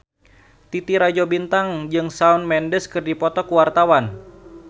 Titi Rajo Bintang jeung Shawn Mendes keur dipoto ku wartawan